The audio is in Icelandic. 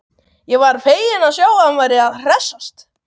Ég var feginn að sjá að hann var að hressast!